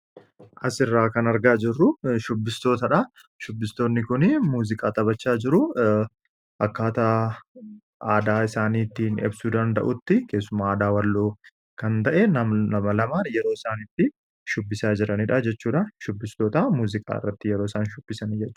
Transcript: as irraa kan argaa jirru shubbistootaadha shubbistootni kun muuziqaa taphachaa jiru akkaata aadaa isaaniittiin ibsuu danda'utti keessuma aadaa Walloo kan ta'e nama lamaan yeroo isaanitti shubbisaa jiraniidha jechuudha. shubbistoota muuziqaa irratti yeroo isaan shubbisanidha.